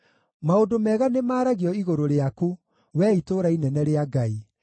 Maũndũ mega nĩmaragio igũrũ rĩaku, wee itũũra inene rĩa Ngai: